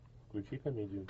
включи комедию